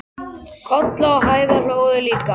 Kolla og Heiða hlógu líka.